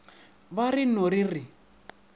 be re no re re